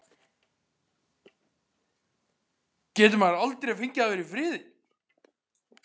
GETUR MAÐUR ALDREI FENGIÐ AÐ VERA Í FRIÐI?